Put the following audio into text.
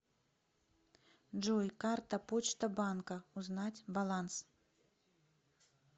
джой карта почта банка узнать баланс